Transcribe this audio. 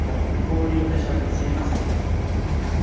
Bu uning tashabbusi emas edi.